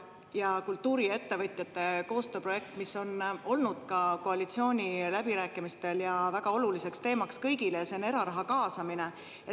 Ja kultuuriettevõtjate koostööprojekt, mis on olnud ka koalitsiooniläbirääkimistel väga oluliseks teemaks kõigile, see on eraraha kaasamine.